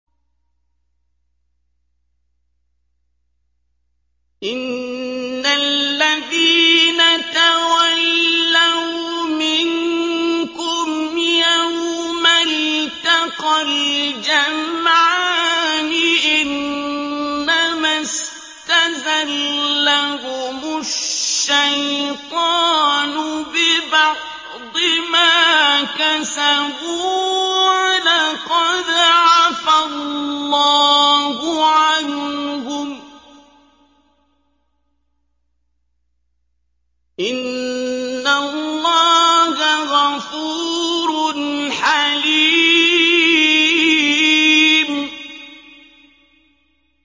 إِنَّ الَّذِينَ تَوَلَّوْا مِنكُمْ يَوْمَ الْتَقَى الْجَمْعَانِ إِنَّمَا اسْتَزَلَّهُمُ الشَّيْطَانُ بِبَعْضِ مَا كَسَبُوا ۖ وَلَقَدْ عَفَا اللَّهُ عَنْهُمْ ۗ إِنَّ اللَّهَ غَفُورٌ حَلِيمٌ